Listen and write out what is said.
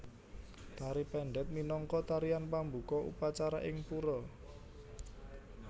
Tari Pendet minangka tarian pambuka upacara ing pura